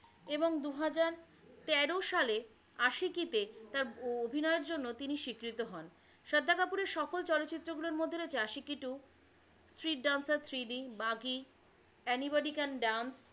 এবং দুহাজার তেরো সালে আসিকি তে তার অভিনয়ের জন্য তিনি স্বীকৃত হন। শ্রদ্ধা কাপূরের সফল চলচ্চিত্রগুলো মধ্যে রয়েছে Aashiqui two, street dancer, three D, Baaghi, any body can dance,